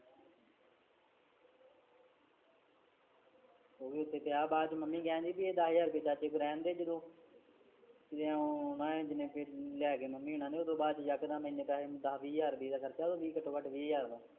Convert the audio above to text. ਓਵੀ ਓਥੇ ਪਿਆ ਬਾਦਚ ਮੰਮੀ ਕੈਂਦੀ ਬੀ ਏ ਦਾਸ ਹਜਾਰ ਚਾਚੇ ਕੋਲ ਰੈਂਦੇ ਜਦੋ ਓ ਬਾਦ ਚ ਇੱਕਦਮ ਏਨੇ ਪੈਸੇ ਹੁਣ ਤਾ ਦਾਸ ਕ ਹਜਾਰ ਦਾ ਖਰਚਾ ਘਟੋਂ ਘਟ ਵੀਹ ਹਜ਼ਾਰ ਦਾ